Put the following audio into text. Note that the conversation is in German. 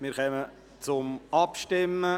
Wir kommen zur Abstimmung.